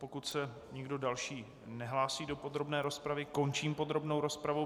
Pokud se nikdo další nehlásí do podrobné rozpravy, končím podrobnou rozpravu.